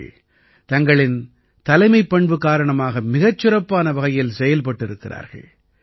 பெண்கள் தங்களின் தலைமைப்பண்பு காரணமாக மிகச் சிறப்பான வகையில் செயல்பட்டிருக்கிறார்கள்